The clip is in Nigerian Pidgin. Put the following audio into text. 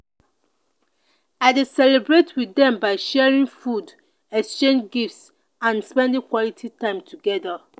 i dey celebrate with dem by sharing food exchange gifts and spend quality time together.